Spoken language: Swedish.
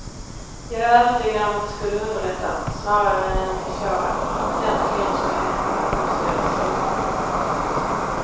Jag är övertygad om att det skulle underlätta, snarare än försvåra, kompetenta kvinnors möjligheter att nå styrelserummen.